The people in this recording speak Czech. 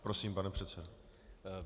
Prosím, pane předsedo.